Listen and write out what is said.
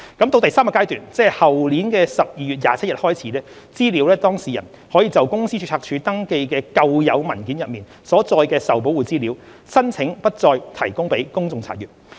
到第三階段，即後年12月27日開始，資料當事人可就公司註冊處登記的舊有文件中所載的受保護資料，申請不再提供予公眾查閱。